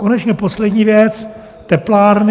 Konečně poslední věc, teplárny.